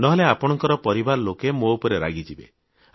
ନହେଲେ ଆପଣଙ୍କ ପରିବାର ଲୋକ ମୋ ଉପରେ ରାଗିଯିବେ